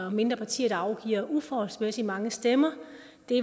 at mindre partier afgiver uforholdsmæssig mange stemmer